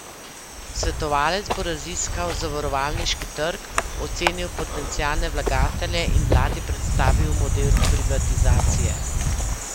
Svetovalec bo raziskal zavarovalniški trg, ocenil potencialne vlagatelje in vladi predstavil model privatizacije.